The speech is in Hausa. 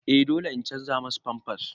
Eh dole in canza masa pampers.